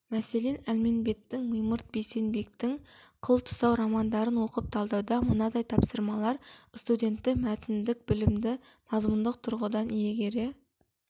мәселен әлменбеттің мимырт бейсенбектің қыл тұсау романдарын оқып талдауда мынадай тапсырмалар студентті мәтіндік білімді мазмұндық тұрғыдан иегере